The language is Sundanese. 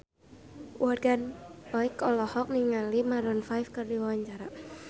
Morgan Oey olohok ningali Maroon 5 keur diwawancara